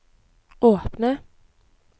åpne